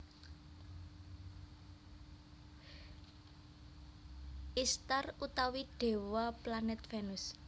Ishtar utawi dewa Planet Venus